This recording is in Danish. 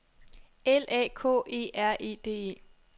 L A K E R E D E